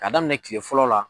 K'a daminɛ kile fɔlɔ la.